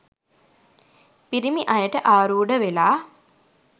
පිරිමි අයට ආරූඪ වෙලා